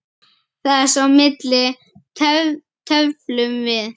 Þess á milli tefldum við.